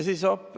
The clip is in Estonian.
Hopp!